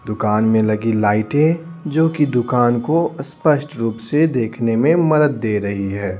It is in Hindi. दुकान में लगी लाइटें जो कि दुकान को स्पष्ट रूप से देखने में मदद दे रही है।